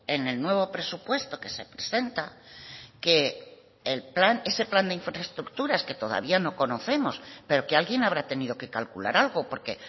en el nuevo presupuesto que se presenta que el plan ese plan de infraestructuras que todavía no conocemos pero que alguien habrá tenido que calcular algo porque